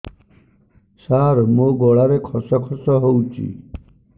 ସାର ମୋ ଗଳାରେ ଖସ ଖସ ହଉଚି